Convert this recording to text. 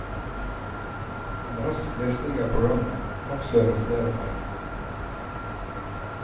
En rask lesning av programmet avslører flere feil.